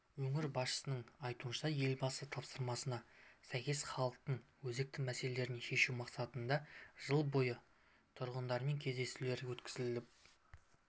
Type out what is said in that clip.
өңір басшысының айтуынша елбасы тапсырмасына сәйкес халықтың өзекті мәселелерін шешу мақсатында жыл бойы тұрғындармен кездесулер өткізіліп